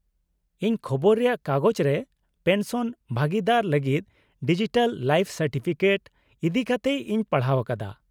-ᱤᱧ ᱠᱷᱚᱵᱚᱨ ᱨᱮᱭᱟᱜ ᱠᱟᱜᱚᱡᱽᱨᱮ ᱯᱮᱱᱥᱚᱱ ᱵᱷᱟᱹᱜᱤᱫᱟᱨ ᱞᱟᱹᱜᱤᱫ ᱰᱤᱡᱤᱴᱟᱞ ᱞᱟᱭᱤᱯᱷ ᱥᱟᱨᱴᱤᱯᱷᱤᱠᱮᱴ ᱤᱫᱤᱠᱟᱛᱮ ᱤᱧ ᱯᱟᱲᱦᱟᱣ ᱟᱠᱟᱫᱟ ᱾